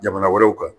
Jamana wɛrɛw kan